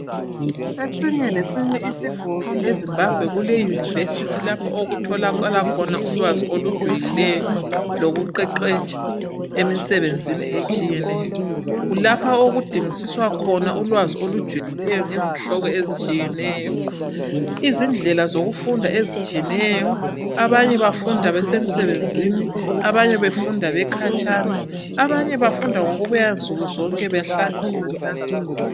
Esinye lesinye isigodi eZimbabwe kuleyunivesithi lapho okutholakala khona ulwazi olujulileyo lokuqeqetsha emisebenzini etshiyeneyo. Kulapha okudingisiswa khona ulwazi olujulileyo ngezihloko ezitshiyeneyo. Izindlela zokufunda ezitshiyeneyo. Abanye bafunda besemsebenzini abanye befunda bekhatshana abanye befunda ngokubuya nsukuzonke behlale emakilasini.